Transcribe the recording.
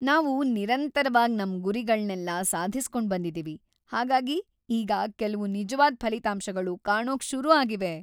ನಾವು ನಿರಂತರವಾಗ್ ನಮ್ ಗುರಿಗಳ್ನೆಲ್ಲ ಸಾಧಿಸ್ಕೊಂಡ್‌ ಬಂದಿದೀವಿ, ಹಾಗಾಗಿ ಈಗ ಕೆಲ್ವು ನಿಜ್ವಾದ್ ಫಲಿತಾಂಶಗಳು ಕಾಣೋಕ್ ಶುರು ಆಗಿವೆ.